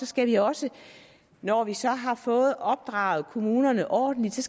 skal vi også når vi så har fået opdraget kommunerne ordentligt